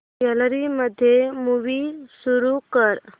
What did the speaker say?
gallery मध्ये movie सुरू कर